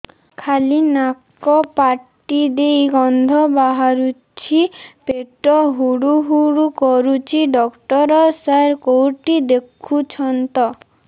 ଖାଲି ନାକ ପାଟି ଦେଇ ଗଂଧ ବାହାରୁଛି ପେଟ ହୁଡ଼ୁ ହୁଡ଼ୁ କରୁଛି ଡକ୍ଟର ସାର କେଉଁଠି ଦେଖୁଛନ୍ତ